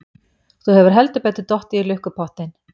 Þú hefur heldur betur dottið í lukkupottinn!